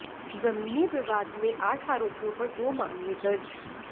जमीनी विवाद में आठ आरोपियों पर दो मामले दर्ज